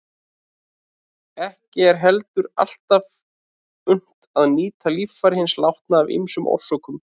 Ekki er heldur alltaf unnt að nýta líffæri hins látna af ýmsum orsökum.